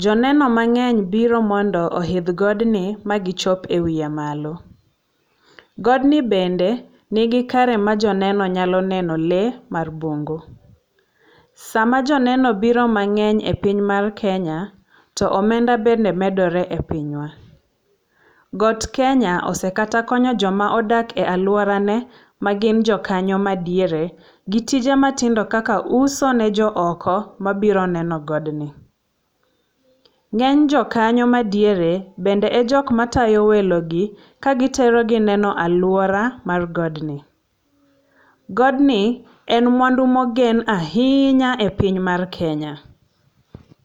Jo neno mang'eny biro mondo oidh godni magichop ewiye malo. Godni bende ni gi kare ma joneno nyalo neno lee mar bungu. Sama joneno obiro mang'eny e piny mar Kenya, to omenda bende medore e pinywa. Got Kenya osekata konyo jok ma odak e aluorane magin jo kanyo madiere gi tije matindo kaka uso ne jo oko mabiro neno godni. Ng'eny jo kanyo madiere bende e jok matayo welogi kagiterogi neno aluora mar godni. Godni en mwandu mogen ahinya e piny mar Kenya.